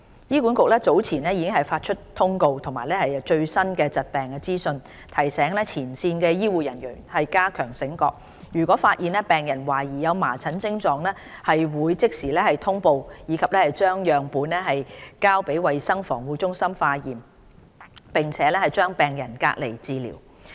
醫管局早前已發出通告及最新疾病資訊，提醒前線醫護人員加強警覺性，若發現病人懷疑有麻疹徵狀，會即時通報及將樣本送交衞生防護中心化驗，並將病人隔離治療。